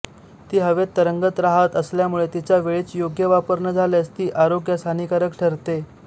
ती हवेत तरंगत राहात असल्यामुळे तिचा वेळीच योग्य वापर न झाल्यास ती आरोग्यास हानिकारक ठरते